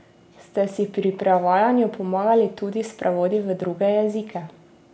Ste si pri prevajanju pomagali tudi s prevodi v druge jezike?